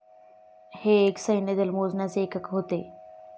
हे एक सैन्यदल मोजण्याचे एकक होते.